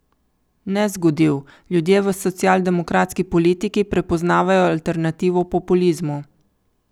Ne zgodil, ljudje v socialdemokratski politiki prepoznavajo alternativo populizmu.